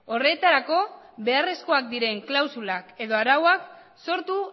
horretarako beharrezkoak diren klausulak edo arauak sortu